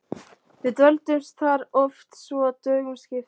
Við dvöldumst þar oft svo að dögum skipti.